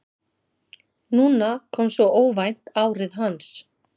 Núna kom svo óvænt árið hans.